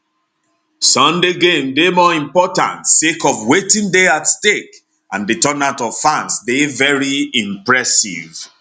sunday game dey more important sake of wetin dey at stake and di turnout of fans dey very impressive